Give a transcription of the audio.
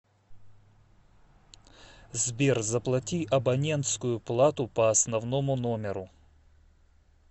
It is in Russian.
сбер заплати абонентскую плату по основному номеру